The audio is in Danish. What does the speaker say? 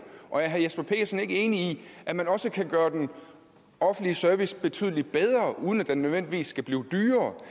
og er herre jesper petersen ikke enig i at man også kan gøre den offentlige service betydelig bedre uden at den nødvendigvis skal blive dyrere